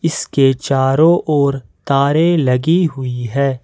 इसके चारों और तारे लगी हुई है।